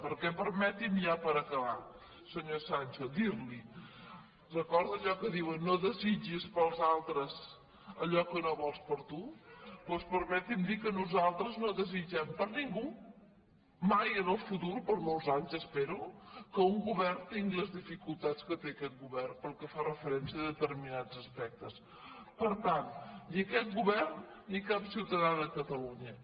perquè permeti’m i ja per acabar senyor sancho dir·li recorda allò que diuen no desitgis pels altres allò que no vols per a tu doncs permeti’m dir que nosal·tres no desitgem per a ningú mai en el futur per molts anys espero que un govern tingui les dificultats que té aquest govern pel que fa referència a determinats aspectes per tant ni aquest govern ni cap ciutadà de catalunya